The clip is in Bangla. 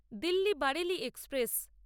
দিল্লি বারেলি এক্সপ্রেস